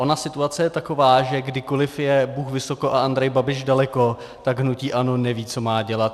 Ona situace je taková, že kdykoli je Bůh vysoko a Andrej Babiš daleko, tak hnutí ANO neví, co má dělat.